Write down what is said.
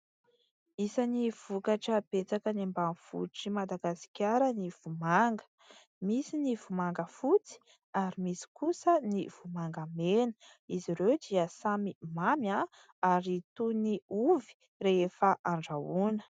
Isany vokatra betsaka any ambanivohitr'i Madagasikara ny vomanga. Misy ny vomanga fotsy ary misy kosa ny vomanga mena. Izy ireo dia samy mamy ary toy ny ovy rehefa andrahoina.